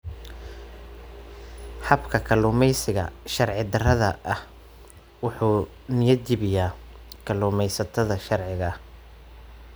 Habka kalluumeysiga sharci-darrada ah wuxuu niyad-jabiyaa kalluumaysatada sharciga ah.